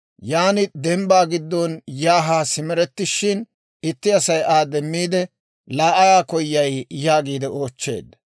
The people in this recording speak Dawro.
Yan dembbaa giddon yaa haa simerettishin, itti Asay Aa demmiide, «Laa ayaa koyay?» yaagiide oochcheedda.